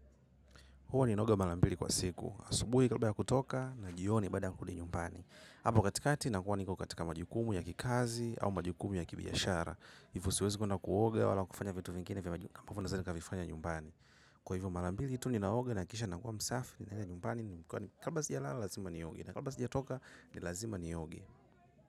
Huwa ninaoga mara mbili kwa siku. Asubuhi kalba ya kutoka na jioni baada kurudi nyumbani. Apo katikati nakuwa niko katika majukumu ya kikazi au majukumu ya ki biashara. Hivyo siwezi kuenda kuoga wala kufanya vitu vingine vya majukumu ambavyo naweza nikavifanya nyumbani. Kwa hivyo maranmbili tu ninaoga na kisha nakuwa msafi ni naenda nyumbani. Kabla sijalala lazima nioge. Na kabla sijatoka ni lazima nioge.